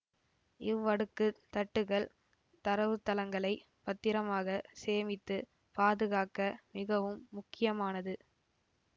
இவ்வடுக்குத் தட்டுகள் தரவுத்தளங்களை பத்திரமாக சேமித்து பாதுகாக்க மிகவும் முக்கியமானது